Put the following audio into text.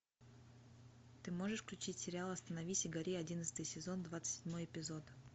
ты можешь включить сериал остановись и гори одиннадцатый сезон двадцать седьмой эпизод